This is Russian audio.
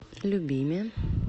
любиме